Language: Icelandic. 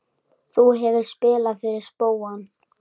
Þú hefur spilað fyrir spóann?